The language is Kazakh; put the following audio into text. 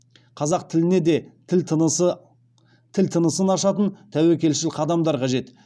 қазақ тіліне де тіл тынысын ашатын тәуекелшіл қадамдар қажет